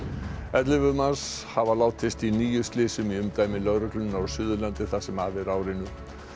ellefu manns hafa látist í níu slysum í umdæmi lögreglunnar á Suðurlandi það sem af er ári